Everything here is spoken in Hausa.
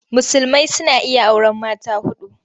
Musulmai suna iya auren mata huɗu.